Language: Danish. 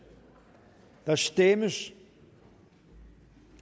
der stemmes